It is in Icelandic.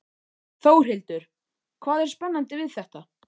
Þórhildur: Hvað er spennandi við þetta?